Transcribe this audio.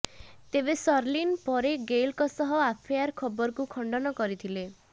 ତେବେ ଶର୍ଲିନ୍ ପରେ ଗେଲଙ୍କ ସହ ଆଫେୟାର୍ ଖବରକୁ ଖଣ୍ଡନ କରିଥିଲେ